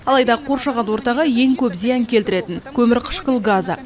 алайда қоршаған ортаға ең көп зиян келтіретін көмірқышқыл газы